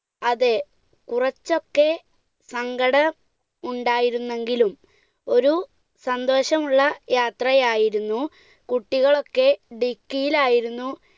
അതെ കുറച്ചൊക്കെ സങ്കടമുണ്ടായിരുന്നെങ്കിലും ഒരു സന്തോഷമുള്ള യാത്രയായിരുന്നു, കുട്ടികളൊക്കെ dicky യിലായിരുന്നു.